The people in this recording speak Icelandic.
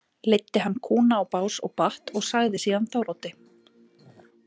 Leiddi hann kúna á bás og batt og sagði síðan Þóroddi.